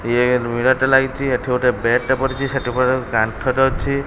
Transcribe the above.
ଇଏ ମିରର ରେ ଟେ ଲାଗିଚି। ଏଠି ଗୋଟେ ବ୍ୟାଟ୍ ଟେ ପଡ଼ିଚି ସେଠି ବଡ କାନ୍ଥ ଟେ ଅଛି।